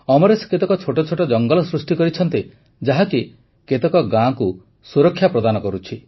ଅମରେଶ କେତେକ ଛୋଟ ଛୋଟ ଜଙ୍ଗଲ ସୃଷ୍ଟି କରିଛନ୍ତି ଯାହାକି କେତେକ ଗାଁକୁ ସୁରକ୍ଷା ପ୍ରଦାନ କରୁଛି